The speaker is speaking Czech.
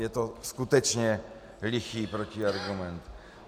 Je to skutečně lichý protiargument.